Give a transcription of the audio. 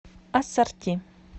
ассорти